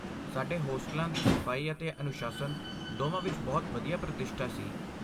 ਸਾਡੇ ਹੋਸਟਲਾਂ ਦੀ ਸਫਾਈ ਅਤੇ ਅਨੁਸ਼ਾਸਨ ਦੋਵਾਂ ਵਿੱਚ ਬਹੁਤ ਵਧੀਆ ਪ੍ਰਤਿਸ਼ਠਾ ਸੀ।